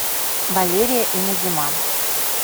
валерия и назима